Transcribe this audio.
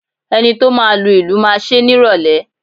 Enito máa lu ìlù máa ṣe ni ìrólé